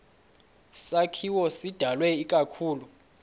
sakhiwo sidalwe ikakhulu